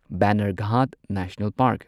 Bannerghatta national park